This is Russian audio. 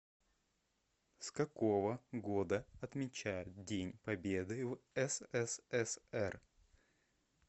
с какого года отмечают день победы в ссср